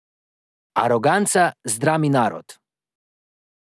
Aroganca zdrami narod.